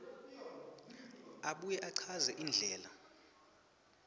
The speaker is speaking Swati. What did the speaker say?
abuye achaze indlela